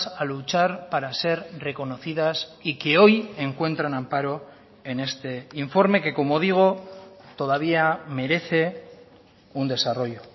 a luchar para ser reconocidas y que hoy encuentran amparo en este informe que como digo todavía merece un desarrollo